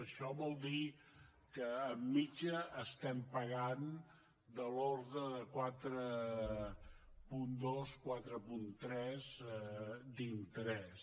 això vol dir que de mitjana paguem de l’ordre de quatre coma dos quatre coma tres d’interès